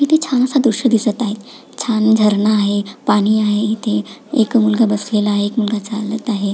इथे छानस दृश दिसत आहे छान झरणा आहे पाणी आहे इथे एक मुलगा बसलेला एक मुलगा चालत आहे.